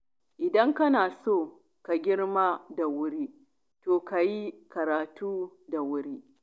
Idan kana so ka girma da wuri, to ka yi karatu da wuri.